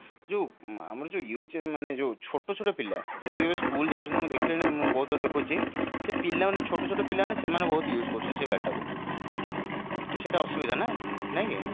ଯୋଉ ଆମର ଯୋଉ youth ମାନେ ଯୋଉ ଛୋଟ ଛୋଟ ପିଲା ଯେମତି କି school ଯାଉଛନ୍ତି ମୁଁ ଦେଖିଲିଣି ମୁଁ ବହୁତ ଜାଗା ଦେଖୁଛି ସେ ପିଲାମାନେ ଛୋଟ ଛୋଟ ପିଲା ମାନେ ସେମାନେ ବହୁତ use କରୁଛନ୍ତି ସେ ଗାଡି ଟା କୁ ତ ସେଇ ଟା ଅସୁବିଧା ନା ନାଇଁ କି